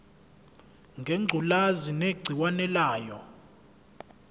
ngengculazi negciwane layo